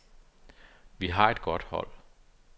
Vi var et godt hold.